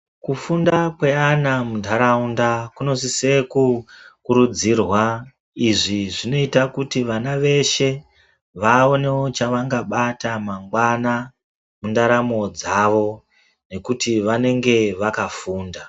Kufunda kweana munharaunda kunosise kukurudzirwa izvi zvinoita kuti vana veshe vaonewo chavangabata mangwana mundaramo dzavo nekuti vanenge vakafunda.